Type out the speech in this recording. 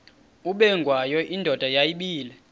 ubengwayo indoda yayibile